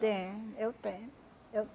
Tenho, eu tenho. Eu